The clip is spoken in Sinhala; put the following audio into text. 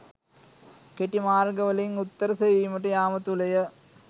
කෙටි මාර්ග වලින් උත්තර සෙවීමට යාම තුළය.